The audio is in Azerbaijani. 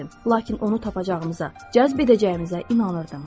Lakin onu tapacağımıza, cəzb edəcəyimizə inanırdım.